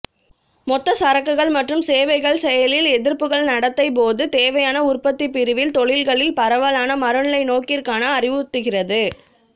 மொத்த சரக்குகள் மற்றும் சேவைகள் செயலில் எதிர்ப்புகள் நடத்தை போது தேவையான உற்பத்திப் பிரிவில் தொழில்களில் பரவலான மறுநிலைநோக்கிற்கான அறிவுறுத்துகிறது